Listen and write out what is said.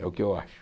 É o que eu acho.